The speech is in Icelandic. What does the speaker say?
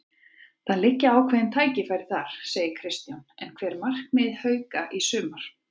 Það liggja ákveðin tækifæri þar, segir Kristján en hver eru markmið Hauka í sumar?